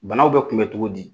Banaw bɛ tun bɛ cogo di